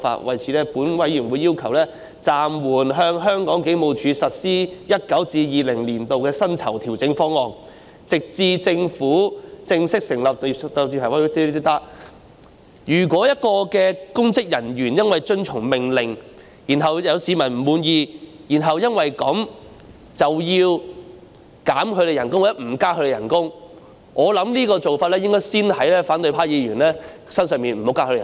為此，本委員會要求暫緩向香港警務處實施 2019-2020 年度的薪酬調整方案，直至政府正式成立......如果有公職人員因為遵從命令而執行工作，令市民不滿，其薪酬因而遭到削減或不獲增加，我認為這種做法應該先用在反對派議員身上，不增加他們的薪酬。